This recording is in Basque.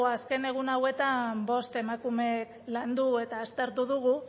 azken egun hauetan bost emakumek landu eta aztertu dugu